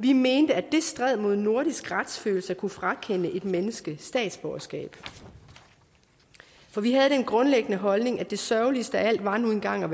vi mente at det stred mod nordisk retsfølelse at kunne frakende et menneske statsborgerskab for vi havde den grundlæggende holdning at det sørgeligste af alt nu engang var